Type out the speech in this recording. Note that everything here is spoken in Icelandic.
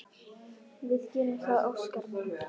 Við gerum það, Óskar minn.